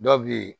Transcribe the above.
Dɔw bɛ yen